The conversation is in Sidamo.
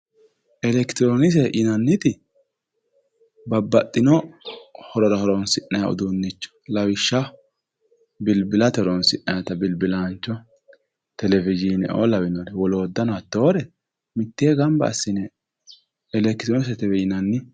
Elektironkise yinanniti babbaxxino horora horonsi'nayi uduunnichooti lawishsha bilbilate horonsi'nayta bilbilaancho tv lawinore woloottano hattoore mittee gamba assine electironiksetewe yinanni